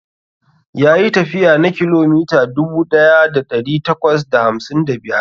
Yayi tafiya na kilomita dubu daya da dari takwas da hamsin da biyar.